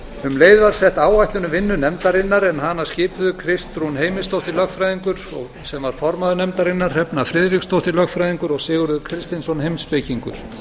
um leið var sett áætlun um vinnu nefndarinnar en hana skipuðu kristrún heimisdóttir lögfræðingur sem var formaður nefndarinnar hrefna friðriksdóttir lögfræðingur og sigurður kristinsson heimspekingur